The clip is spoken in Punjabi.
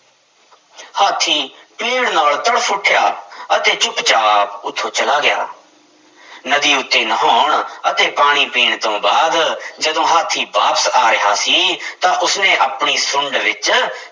ਹਾਥੀ ਪੀੜ੍ਹ ਨਾਲ ਤੜਫ਼ ਉੱਠਿਆ ਅਤੇ ਚੁੱਪ ਚਾਪ ਉੱਥੋਂ ਚਲਾ ਗਿਆ ਨਦੀ ਉੱਤੇ ਨਹਾਉਣ ਅਤੇ ਪਾਣੀ ਪੀਣ ਤੋਂ ਬਾਅਦ ਜਦੋਂ ਹਾਥੀ ਵਾਪਸ ਆ ਰਿਹਾ ਸੀ ਤਾਂ ਉਸਨੇ ਆਪਣੀ ਸੁੰਡ ਵਿੱਚ